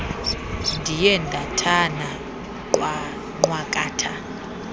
ndiye ndathana nqwakatha